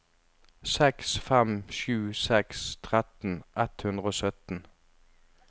seks fem sju seks tretten ett hundre og sytten